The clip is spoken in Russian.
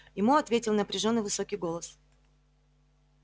ему ответил напряжённый высокий голос